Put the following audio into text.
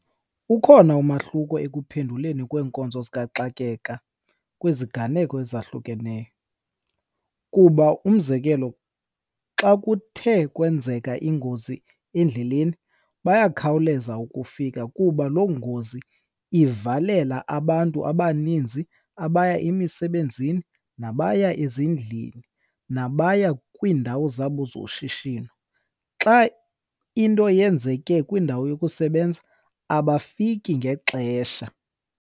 Ukhona umahluko ekuphenduleni kweenkonzo zikaxakeka kwiziganeko ezahlukeneyo. Kuba umzekelo, xa kuthe kwenzeka ingozi endleleni bayakhawuleza ukufika kuba loo ngozi ivalela abantu abaninzi abaya emisebenzini, nabaya ezindlini, nabaya kwiindawo zabo zoshishino. Xa into yenzeke kwindawo yokusebenza abafiki ngexesha.